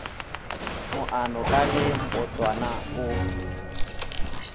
moano ka ge mbotwana o